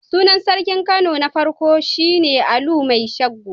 Sunan sarkin Kano na farko shi ne Alu Mai Sango.